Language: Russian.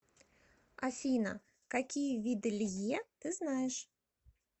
афина какие виды лье ты знаешь